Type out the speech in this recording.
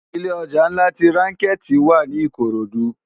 Ilé òjá nlá ti ránkèti wá ni ikorodu